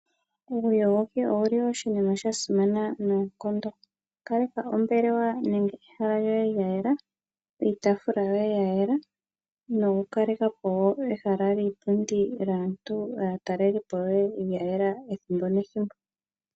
Uuyogoki owu li oshinima shasimana noonkondo. Kaleka ombelewa nenge ehala lyoye yayela, iitaafula yoye yayela, noku kaleka po ehala lyiipundi, lyaatalelipo yoye lyayela ethimbo nethimbo.